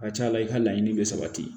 A ka ca la i ka laɲini bɛ sabati